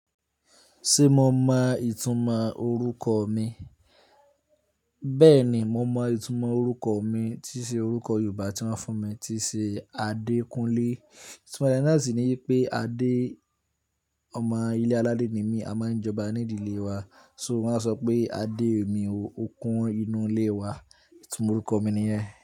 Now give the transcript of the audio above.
Ṣé mo mọ ìtumọ̀ orúkọ mi? Bẹ́ẹ̀ni, mo mọ ìtumọ̀ orúkọ mi tí ṣe orúkọ Yorùbá tí wọ́n fún mi tín ṣe Adékúnlé. Ìtumọ̀ re náà sì ni wipé Adé, ọmọ ilé aládé ni mí, a máa ń jọba nídìlé wa. So wọ́n á sọ pé Adé mi o, ó kún inú ilé wa. Ìtumọ̀ orúkọ mi ni yan.